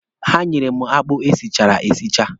Ha nyere m akpụ e sichara esicha.